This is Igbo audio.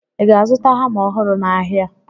Ị ga-azụta hama ọhụrụ n'ahịa?